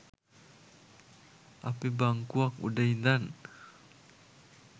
අපි බංකුවක් උඩ ඉඳන්